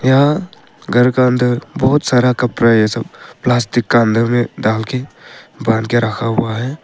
यहाँ घर का अंदर बहुत सारा का कपड़ा ये सब प्लास्टिक का अंदर डाल के बांध के रखा हुआ है।